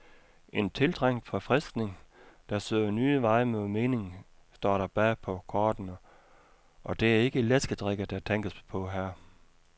En tiltrængt forfriskning, der søger nye veje mod mening, står der bagpå kortene, og det er ikke læskedrikke, der tænkes på her.